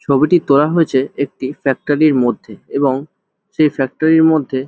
ছবিটি তোলা হয়েছে একটি ফ্যাক্টরি র মধ্যে এবং সেই ফ্যাক্টরি র মধ্যে--